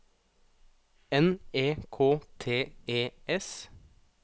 N E K T E S